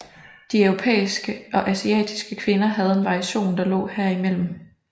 De europæiske og asiatiske kvinder havde en variation der lå herimellem